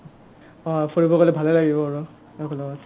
অ অ ফুৰিব গ'লে ভালে লাগিব আৰু একেলগেত